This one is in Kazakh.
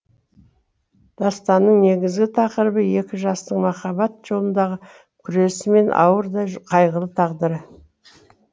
дастанның негізгі тақырыбы екі жастың махаббат жолындағы күресі мен ауыр да қайғылы тағдыры